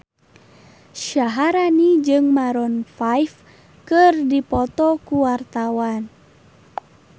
Syaharani jeung Maroon 5 keur dipoto ku wartawan